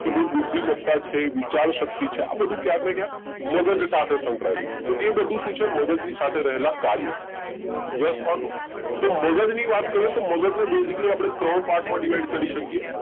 કે ભાઈ બુદ્ધિમત્તા છે વિચાર શક્તિ છે આ બધું ક્યાંક ને ક્યાંક મગજ સાથે સંકળાયેલું છે તો એ બધું શું છે મગજની સાથે રહેલા કાર્યો yes or no તો મગજ ની વાત કરું તો મગજને basically આપણે ત્રણ part માં divide કરી શકીએ